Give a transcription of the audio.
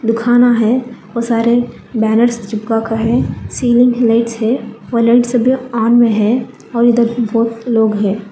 दुखाना है और सारे बैनर्स चिपका का है सीलिंग लाइट्स है और लाइट्स सभी ऑन में है और इधर भी बहुत लोग है।